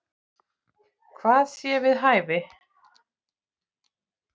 Hvað sé við hæfi.